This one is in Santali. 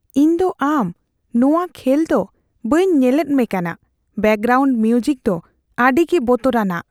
ᱤᱧ ᱫᱚ ᱟᱢ ᱱᱚᱣᱟ ᱠᱷᱮᱞᱮᱫᱟ ᱵᱟᱹᱧ ᱧᱮᱞᱮᱫ ᱢᱮ ᱠᱟᱱᱟ ᱾ ᱵᱮᱠᱜᱨᱟᱣᱩᱱᱰ ᱢᱤᱣᱡᱤᱠ ᱫᱚ ᱟᱹᱰᱤᱜᱮ ᱵᱚᱛᱚᱨᱟᱱᱟᱜ !